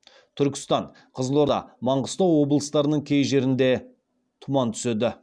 түркістан қызылорда маңғыстау облыстарының кей жерлеріңде тұман түседі